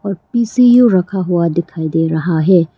PCU रखा हुआ दिखाई दे रहा है।